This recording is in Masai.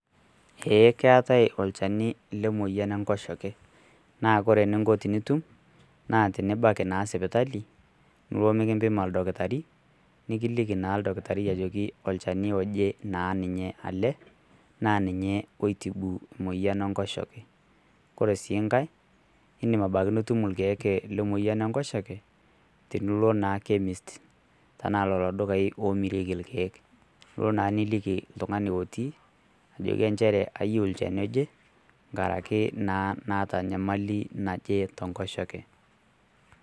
Ee keetae olchani lemoyian enkoshoke. Na kore eninko tenitum, naa tenibaki naa sipitali, nilo mikimpima oldakitari, nikiliki naa dakitari ajoki olchani loje naa ninye ale, na ninye oi tibu naa moyian enkoshoke. Kore si nkae, idim abaki nitum irkeek lemoyian enkoshoke, tenilo naa Chemist. Tanaa lolo dukai omirieki irkeek. Lo naa niliki oltung'ani otii, nijoki njere ayieu ilchani oje, nkaraki naa naata nyamali natii atua nkoshoke.